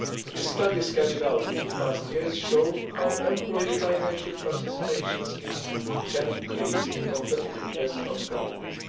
The studies carried out in previous years show how employee financial participation schemes can increase the competitiveness of companies.